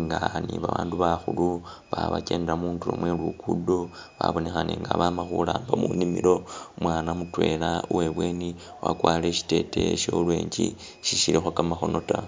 nga ni ba bandu bakhulu balikho bakyendela mundulo mwe lugudo, babonekhane nga a bama khuramba munimilo, umwana mutwela uwe ibweni wakwarire shiteteya shya orange si shilikho kamakhono ta.